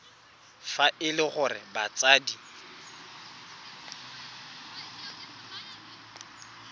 fa e le gore batsadi